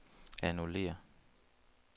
annullér